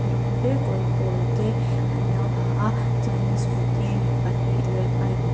dum te kawr pawl te an lo ha a chuanin scooty pahnih leh bike --